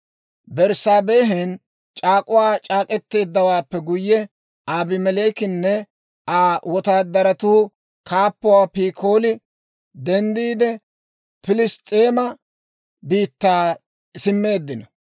Berssaabehen c'aak'uwaa c'aak'k'eteeddawaappe guyye, Abimeleekenne Aa wotaadaratuu kaappuwaa Pikooli denddiide, Pilss's'eema biittaa simmeeddino.